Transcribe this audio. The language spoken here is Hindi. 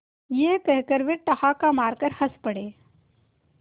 यह कहकर वे ठहाका मारकर हँस पड़े